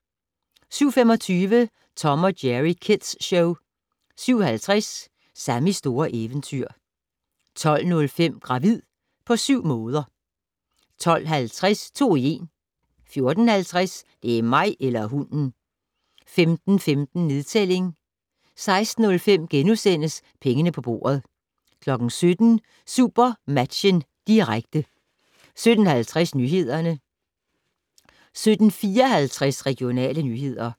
07:25: Tom & Jerry Kids Show 07:50: Sammys store eventyr 12:05: Gravid på syv måder 12:50: To i en 14:50: Det er mig eller hunden! 15:15: Nedtælling 16:05: Pengene på bordet * 17:00: SuperMatchen, direkte 17:50: Nyhederne 17:54: Regionale nyheder